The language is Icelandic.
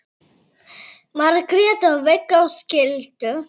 Margrét og Viggó skildu.